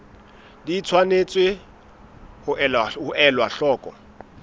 di tshwanetse ho elwa hloko